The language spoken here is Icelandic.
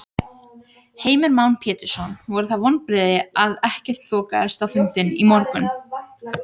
Heimir Már Pétursson: Voru það vonbrigði að ekkert þokaðist á fundinum í morgun?